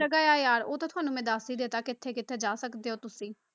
ਜਗ੍ਹਾ ਆ ਯਾਰ ਉਹ ਤਾਂ ਤੁਹਾਨੂੰ ਮੈਂ ਦੱਸ ਹੀ ਦਿੱਤਾ ਕਿੱਥੇ ਕਿੱਥੇ ਜਾ ਸਕਦੇ ਹੋ ਤੁਸੀਂ।